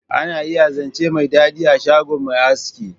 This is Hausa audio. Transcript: Ana iya zance mai dadi a shgon mai aski.